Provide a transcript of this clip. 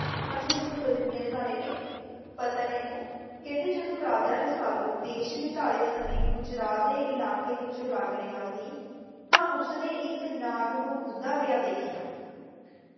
ਹਾਂਜੀ ਹਾਂਜੀ ਮੈਂ ਦੱਸ ਦਿੰਦੀ ਹਾਂ ਇਂਹਨਾ ਬਾਰੇ ਵੀ ਪਤਾ ਹੈ ਮੈਨੂੰ, ਕਹਿੰਦੇ ਜਦੋਂ ਰਾਜਾ ਰਸਾਲੂ ਦੇਸ਼ ਨਿਕਾਲੇ ਸਮੇਂ ਗੁਜਰਾਤ ਦੇ ਇਲਾਕੇ ਵਿੱਚੋਂ ਲੰਘ ਰੇਹਾਂ ਸੀ ਤਾਂ ਉਸਨੇ ਇੱਕ ਨਾਗ ਨੂੰ ਮੂਦਾੱ ਪਿਆ ਵੈਖੀਆਂ।